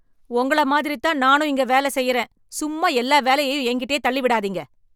உங்கள மாதிரி தான் நானும் இங்க வேலை செய்கிறேன், சும்மா எல்லா வேலையும் என்கிட்ட தள்ளி விடாதீங்க.